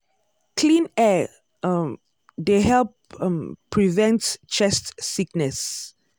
clean air um dey help um prevent chest sickness.